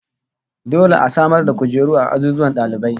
Dole a samar da kujeru a azuzuwan dalibai